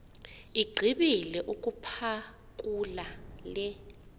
igqibile ukuphakula le